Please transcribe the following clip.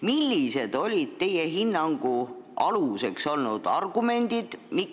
Millised olid teie hinnangu aluseks olnud argumendid?